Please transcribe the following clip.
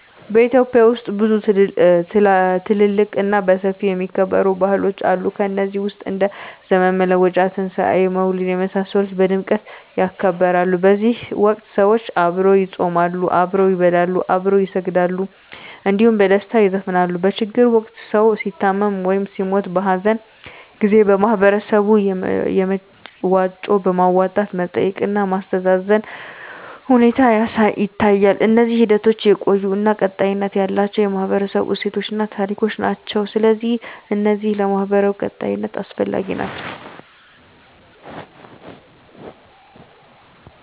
ኢትዮጵያ ውስጥ ብዙ ትልልቅ እና በሰፊው የሚከበሩ ባህሎች አሉ ከነዚህ ውስጥ እንደ ዘመን መለወጫ; ትንሣኤ; መውሊድ የመሳሰሉት በድምቀት ይከበራሉ በዚህ ወቅት ሰዎች አብረው ይጾማሉ፣ አብረው ይበላሉ፣ አብረው ይሰግዳሉ እንዲሁም በደስታ ይዘፍናሉ። በችግር ወቅት ሰዉ ሲታመም ወይም ሲሞት(በሀዘን) ጊዜ በህበረተሰቡ በመዋጮ በማዋጣት መጠየቅ እና ማስተዛዘን ሁኔታ ይታያል። እነዚህ ሂደቶች የቆዩ እና ቀጣይነት ያላቸው የህብረተሰቡ እሴቶችን እና ታሪኮችን ናቸው። ስለዚህ እነዚህ ለማህበራዊ ቀጣይነት አስፈላጊ ናቸው